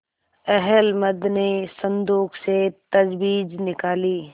अहलमद ने संदूक से तजबीज निकाली